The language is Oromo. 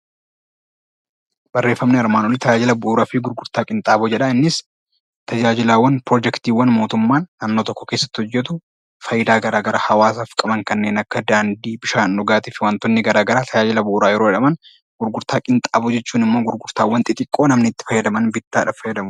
Barreeffamni Armaan olii tajaajila fi gurgurtaa qinxaaboo jedha. Tajaajilaawwan piroojektii mootummaa dhimma tokko keessatti hojjetu, fayidaa garaagaraa hawaasaaf qabu kanneen akka daandii, bishaan dhugaatii fi dhagaa tajaajila bu'uuraa yeroo jedhaman gurgurtaa qinxaaboo jechuun immoo gurgurtaa xixiqqoo namni bittaadhaaf itti fayyadaman jechuudha.